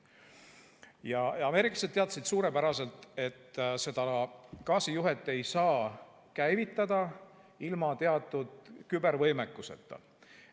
Ja ameeriklased teadsid suurepäraselt, et seda gaasijuhet ei saa käivitada ilma teatud kübervõimekuseta.